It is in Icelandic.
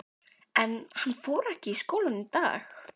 Andri: En hann fór ekki í skólann í dag?